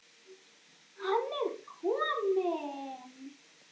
Hann er kominn!